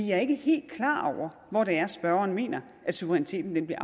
jeg er ikke helt klar over hvor det er spørgeren mener at suveræniteten vil blive